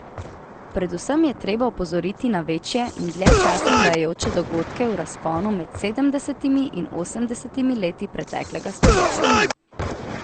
Predvsem je treba opozoriti na večje in dlje časa trajajoče dogodke v razponu med sedemdesetimi in osemdesetimi leti preteklega stoletja.